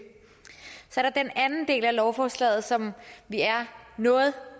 så er der den anden del af lovforslaget som vi er noget